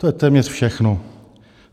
To je téměř všechno.